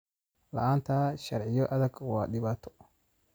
La'aanta sharciyo adag waa dhibaato.